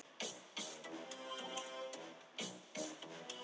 Jóhanna Margrét Gísladóttir: Er hann kominn með eitthvað nafn?